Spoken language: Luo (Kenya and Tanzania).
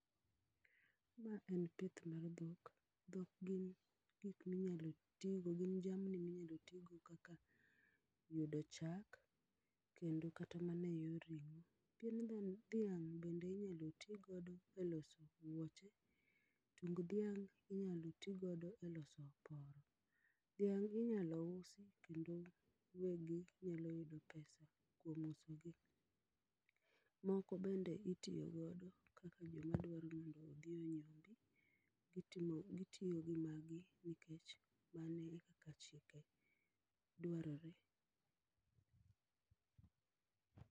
Ma en pith mar dhok, dhok gin gik minyalo tii go gin jamni minyalo tii go kaka yudo chak kendo kata e yor ringo. Pien dhiang bende inyal tii godo e loso wuoche tung' dhiang inyalo tii godo e loso oporo, dhiang inyalo usi kendo wegi nyalo yudo pesa kuom uso gi. Moko bende itiyo godo kaka joma dwaro ni mondo odhi onyombi, gitiyo gi magi nikech mano e kaka chike dwarore